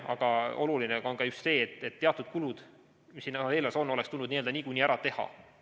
Aga oluline on ka just see, et teatud kulutused, mis siin on, oleks tulnud niikuinii ära teha.